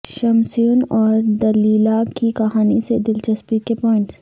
شمسیون اور دلیلہ کی کہانی سے دلچسپی کے پوائنٹس